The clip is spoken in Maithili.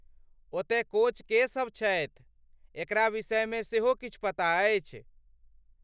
ओतय कोच के सभ छथि ,एकरा विषयमे सेहो किछु पता अछि?